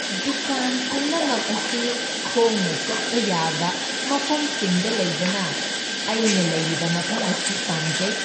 ꯗꯨꯀꯥꯟ ꯄꯨꯝꯅꯃꯛ ꯑꯁꯤ ꯈꯣꯡꯅ ꯆꯠꯄ ꯌꯥꯕ ꯃꯐꯝꯁꯤꯡꯗ ꯂꯩꯕꯅ ꯑꯩꯅ ꯂꯩꯔꯤꯕ ꯃꯐꯝ ꯑꯁꯤ ꯄꯥꯝꯖꯩ꯫